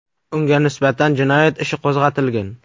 Unga nisbatan jinoyat ishi qo‘zg‘atilgan.